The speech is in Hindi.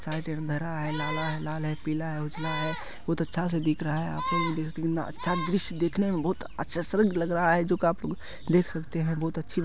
लाल है पीला है उजला है बहुत अच्छा से दिख रहा है अच्छा दृश्य देखने में बहुत अच्छा लग रहा है जो काफी देख सकते हैं।